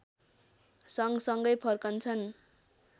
सँगसँगै फर्कन्छन्